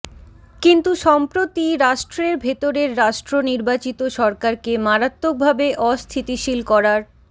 কিন্তু সম্প্রতি রাষ্ট্রের ভেতরের রাষ্ট্র নির্বাচিত সরকারকে মারাত্মকভাবে অস্থিতিশীল করার